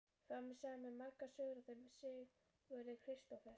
Faðir minn sagði mér margar sögur af þeim Sigurði Kristófer.